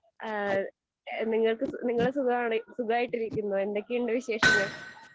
ഏഹ് നിങ്ങക്ക് നിങ്ങൾ സുഖാണോ, സുഖമായിട്ടിരിക്കുന്നോ? എന്തൊക്കെയുണ്ട് വിശേഷങ്ങൾ?